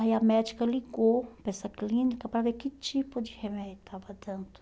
Aí a médica ligou para essa clínica para ver que tipo de remédio estava dando.